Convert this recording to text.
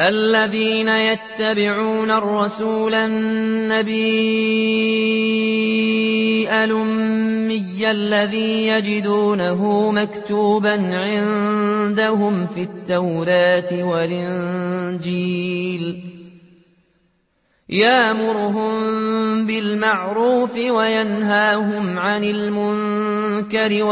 الَّذِينَ يَتَّبِعُونَ الرَّسُولَ النَّبِيَّ الْأُمِّيَّ الَّذِي يَجِدُونَهُ مَكْتُوبًا عِندَهُمْ فِي التَّوْرَاةِ وَالْإِنجِيلِ يَأْمُرُهُم بِالْمَعْرُوفِ وَيَنْهَاهُمْ عَنِ الْمُنكَرِ